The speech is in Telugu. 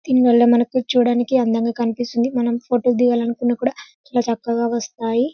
దీన్ వల్ల మనకి చూడడానికి అందంగా కనిపిస్తుంది మనం ఫోటో దిగాలనుకున్నా కూడా ఇట్ల చక్కగా వస్తాయి.